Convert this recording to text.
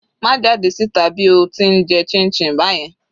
Má jáde síta bí o ti ń jẹ chinchin báyẹn.